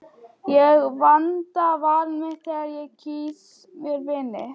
Ég vanda val mitt þegar ég kýs mér vini.